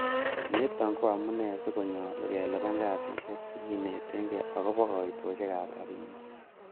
Niton ko amune si konyolu kelipan kasisiek che kinetege agobo koitosiekab rabinik.